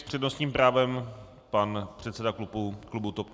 S přednostním právem pan předseda klubu TOP 09. Prosím.